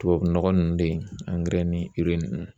Tubabu nɔgɔ nunnu de yen ni nunnu.